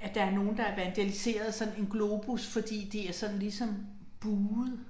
at der er nogen der har vandaliseret sådan en globus fordi det er sådan ligesom buet